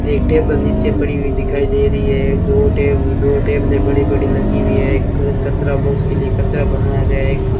एक टेबल नीचे पड़ी हुई दिखाई दे रही है दो टेब दो टेबलें बड़ी बड़ी लगी हुई है एक उस कचरा बॉक्स के लिए कचरा बनाया गया है एक --